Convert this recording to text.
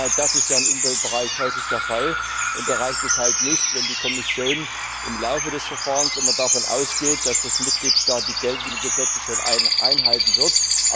Genau das ist ja im Umweltbereich häufig der Fall und da reicht es halt nicht, wenn die Kommission im Laufe des Verfahrens davon ausgeht, dass der Mitgliedstaat die geltenden Gesetze schon einhalten wird.